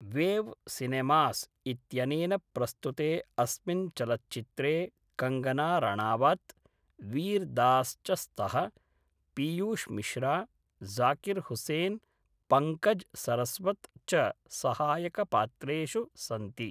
Wave Cinemas इत्यनेन प्रस्तुते अस्मिन् चलच्चित्रे कङ्गना राणावत्, वीर् दास् च स्तः, पियूष् मिश्रा, ज़ाकिर् हुसैन्, पङ्कज् सरस्वत् च सहायकपात्रेषु सन्ति।